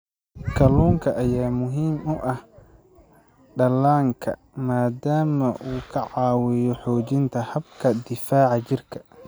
Kalluunka ayaa muhiim u ah dhallaanka maadaama uu ka caawiyo xoojinta habka difaaca jirka.